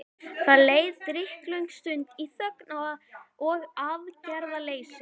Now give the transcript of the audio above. Það leið drykklöng stund í þögn og aðgerðaleysi.